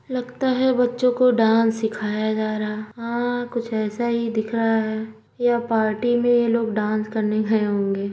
लगता है बच्चों को डांस सिखाया जा रहा है हां कुछ ऐसा ही दिख रहा है या पार्टी में यह लोग डांस करने गए होंगे।